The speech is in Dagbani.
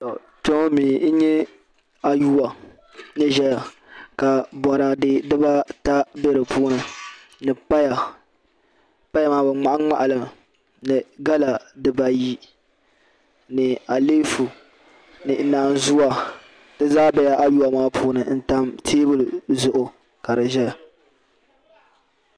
To kpeŋɔmi. yi nyɛ ayuwa. ni zaya ka bɔrade diba ata be di puuni ni paya paya maa bi mŋahi mŋahi li mi ni gala ,diba ayi ni aleefu. ni naan zuwa dizaa bela ayuwa maa puuni n tam teebuli zuɣu kadizɛya.